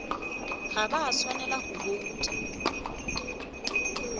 ga ba swanela go bouta